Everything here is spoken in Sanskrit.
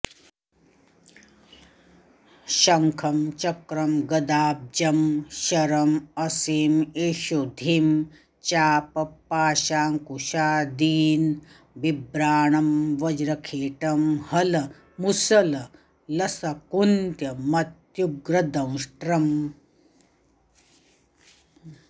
शङ्खं चक्रं गदाब्जं शरमसिमिषुधिं चापपाशाङ्कुशादीन् बिभ्राणं वज्रखेटं हलमुसललसकुन्तमत्युग्रदंष्ट्रम्